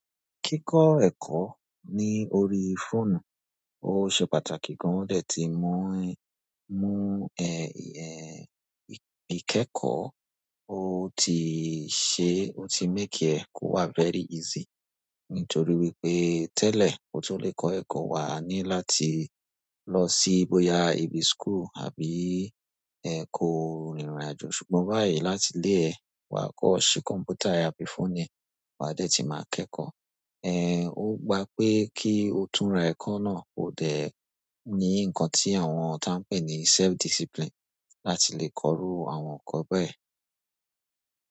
Kíkọ́ ẹ̀kọ́ ní orí fóònù, ó ṣe pàtàkì gan. Wọ́n dẹ̀ ti mú, mú, eh, eh, ìkẹ́kọ̀ọ́, ó ti ṣe, ó ti make ẹ̀kọ́ wá very easy. Nítorí wípé tẹ́lẹ̀, ó ko lè kọ́ ẹ̀kọ́, wà á ní láti lọ sí bóyá ibi school àbí, ẹ, kó rìnrìnàjò. Ṣùgbọ́n báyìí, láti ilé ẹ, wà á kọ́ ṣi kọ̀m̀pútà àbí phone, wà á dẹ̀ ti máa kẹ́kọ̀ọ́. Eh, ó gba pé kí o túnra ẹ̀kọ́ náà, ó dẹ̀ ní nǹkan tí àwọn tó ń pè ní self discipline láti lè kọ rú àwọn ẹ̀kọ́ bẹ́ẹ̀